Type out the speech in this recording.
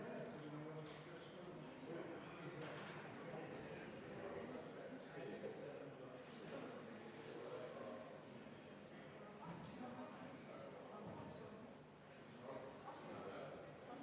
Austatud Riigikogu, panen hääletusele 15. muudatusettepaneku, mille esitas põhiseaduskomisjon ja mida juhtivkomisjon on arvestanud täielikult.